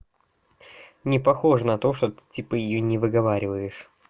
не похоже на то что ты типа её не выговариваешь